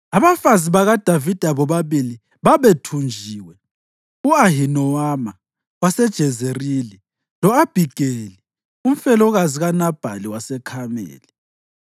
Abafazi bakaDavida bobabili babethunjiwe, u-Ahinowama waseJezerili lo-Abhigeli, umfelokazi kaNabhali waseKhameli.